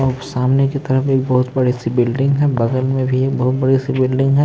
सामने की तरफ एक बहुत बड़ी सी बिल्डिंग है बगल में भी बहुत बड़ी सी बिल्डिंग है।